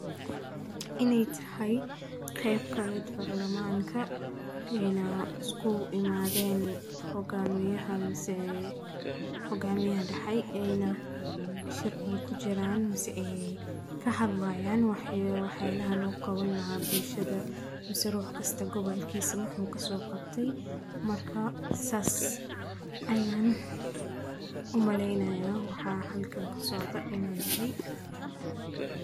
Inay tahay qayb ka miid ah barlamanka ee ay isku imaadeen hoggaamiyaha mise hogaamiye dhexeey eyna sharci ku jiraan mase ka hadlayaan wax wax yeelaaha loo qawan laha bulshada mase ruh kasta gobolkiisa wuxuu ka soo qabtay marka saas ayaana umaleynayaan waxa halkan ka socda inuu yahay.